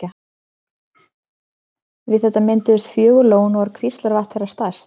Við þetta mynduðust fjögur lón og er Kvíslavatn þeirra stærst.